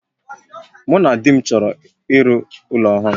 Mụ na di m chọrọ iru ụlọ ọhụrụ